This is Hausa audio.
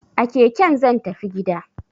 A keke zan tafi gida!